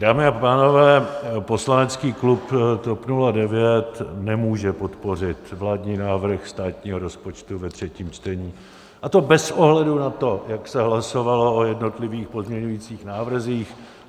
Dámy a pánové, poslanecký klub TOP 09 nemůže podpořit vládní návrh státního rozpočtu ve třetím čtení, a to bez ohledu na to, jak se hlasovalo o jednotlivých pozměňovacích návrzích.